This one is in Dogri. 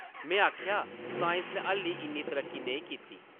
में आखेआ, साईंस नै हाल्ली इन्नी तरक्की नेईं कीती ।